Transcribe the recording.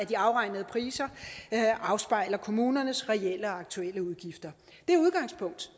de afregnede priser afspejler kommunernes reelle og aktuelle udgifter det udgangspunkt